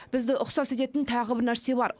бізді ұқсас ететін тағы бір нәрсе бар